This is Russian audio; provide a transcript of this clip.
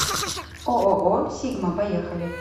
ооо сигма поехали